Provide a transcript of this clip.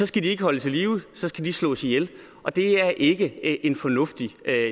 skal de ikke holdes i live så skal de slås ihjel og det er ikke en fornuftig